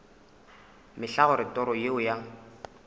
mehla gore toro yeo ya